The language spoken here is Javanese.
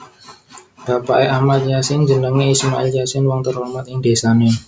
Bapake Ahmad Yasin jenenge Ismail Yasin wong terhormat ing dhesane